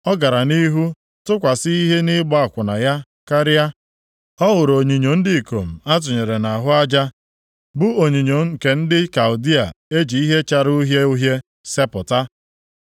“O gara nʼihu tụkwasị ihe nʼịgba akwụna ya karịa. Ọ hụrụ onyinyo ndị ikom atụnyere nʼahụ aja, bụ onyinyo nke ndị Kaldịa e ji ihe chara uhie uhie sepụta,